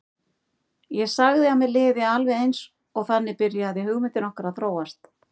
Ég sagði að mér liði alveg eins og þannig byrjaði hugmyndin okkar að þróast.